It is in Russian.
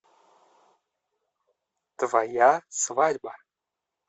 твоя свадьба